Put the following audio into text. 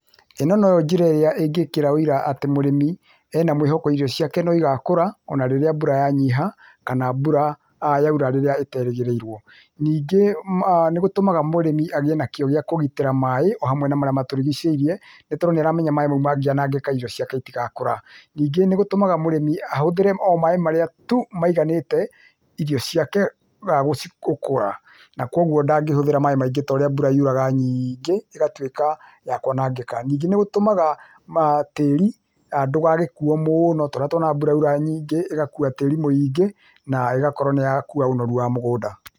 Ĩno no yo njĩra ĩrĩa ĩngĩĩkĩra wũira atĩ mũrĩmi, ena mwĩhoko irio ciake no igakũra, ona rĩrĩa mbura ya nyiha kana mbura yaura rĩrĩa ĩterĩgĩrĩirwo. Ningĩ nĩgũtũmaga mũrĩmi agĩe na kĩo gĩa kũgitĩra maĩ, o hamwe na marĩa matũrigicĩirie, nĩtondũ nĩaramenya maĩ mau mangĩanangĩka irio ciake itigakũra. Ningĩ nĩgũtũmaga mũrĩmi ahũthĩre o maĩ marĩa tu maiganĩte irio ciake gũkũra, na kuoguo ndangĩhũthĩra maĩ maingĩ ta ũrĩa mbura yuraga nyiingĩ ĩgatũĩka ya kwanangĩka. Ningĩ nĩgũtũmaga tĩri ndũgagĩkuo mũũno ta ũrĩa twonaga mbura yaura nyingĩ, igakua tĩri mũingĩ na ĩgakorwo nĩyakua ũnoru wa mũgũnda.